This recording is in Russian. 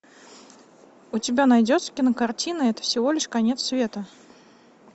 у тебя найдется кинокартина это всего лишь конец света